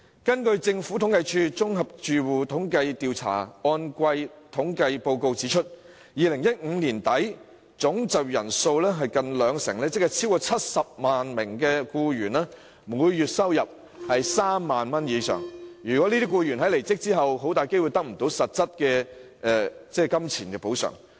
根據政府統計處綜合住戶統計調查按季統計報告 ，2015 年年底總就業人數近兩成，即超過70萬名僱員的每月收入為3萬元以上，這些僱員在離職後很大機會得不到實質金錢補償。